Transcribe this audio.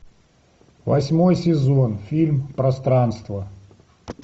восьмой сезон фильм пространство